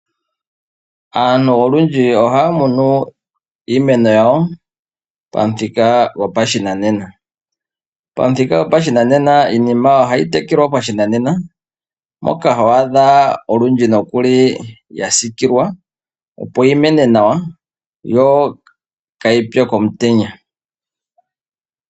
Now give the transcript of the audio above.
Aantu olwindji ohaa munu iimeno yawo, pamuthika gwopashinanena. Pamuthika gwopashinanena iimeno ohayi tekelwa pashinanena, moka ho adha nokuli owindji ya siikilwa, opo yi mene nawa, yo kaayi pye komutenya.